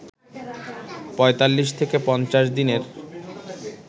৪৫ থেকে ৫০ দিনের